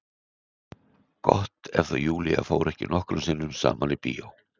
Gott ef þau Júlía fóru ekki nokkrum sinnum saman í bíó.